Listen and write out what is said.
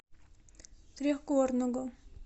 трехгорного